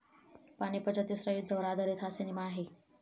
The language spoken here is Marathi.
पानिपतच्या तिसऱ्या युद्धावर आधारित हा सिनेमा आहे.